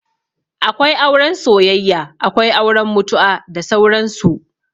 Akwai auren soyayya, Akwai auren mutu'a, da sauran su